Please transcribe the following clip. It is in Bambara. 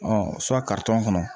kɔnɔ